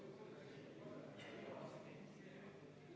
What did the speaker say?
Ja kümme minutit oli, jah?